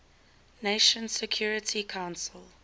nations security council